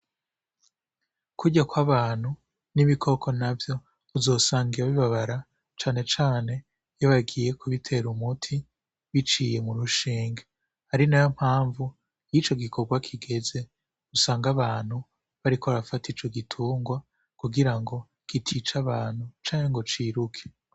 Kurya ko abantu n'ibikoko na vyo uzosangiya bibabara canecane babagiye kubitera umuti biciye mu rushenge ari na yo mpamvu y'ico gikorwa kigeze usanga abantu bariko arafata ico gitungwa kugira ngo kitica abantu cane ngoce iruke.